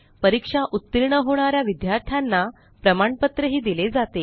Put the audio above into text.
परीक्षा उत्तीर्ण होणा या विद्यार्थ्यांना प्रमाणपत्रही दिले जाते